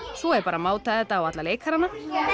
svo er bara að máta þetta á alla leikarana